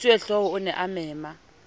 mosuwehlooho a ne a mema